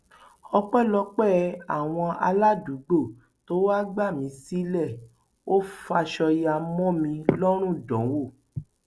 ọpẹlọpẹ àwọn aládùúgbò tó wàá gbà mí sílé ò faṣọ ya mọ mi lọrùn dánwò